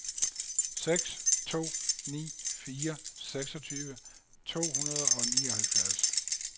seks to ni fire seksogtyve to hundrede og nioghalvfjerds